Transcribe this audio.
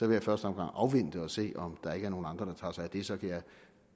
jeg i første omgang afvente og se om der ikke er nogen andre der tager sig af det så kan jeg